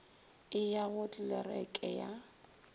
e ya go tlelereke ya